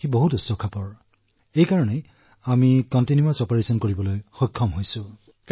আৰু সেইবাবেই আমি নিৰন্তৰে কাম কৰিব পাৰিছো